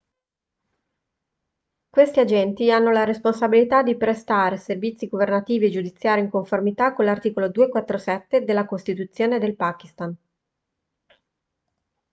questi agenti hanno la responsabilità di prestare servizi governativi e giudiziari in conformità con l'articolo 247 della costituzione del pakistan